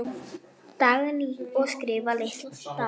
Dagný: Og skrifa litla stafi.